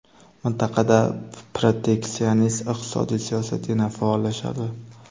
Mintaqada proteksionist iqtisodiy siyosat yana faollashadi.